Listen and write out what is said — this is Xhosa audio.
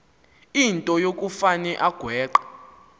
into yokufane agweqe